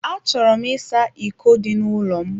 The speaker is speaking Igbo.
A chọrọ m ịsa iko dị n'ụlọ m.